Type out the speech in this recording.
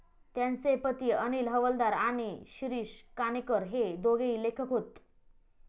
त्यांचे पती अनिल हवालदार आणि शिरीष काणेकर हे दोघेही लेखक होत.